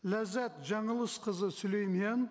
ләззат жаңылысқызы сүлеймен